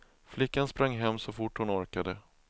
Flickan sprang hem så fort hon orkade.